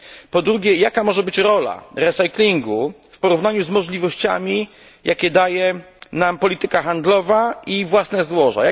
Po drugie jaka może być rola recyklingu w porównaniu z możliwościami, jakie daje nam polityka handlowa i własne złoża?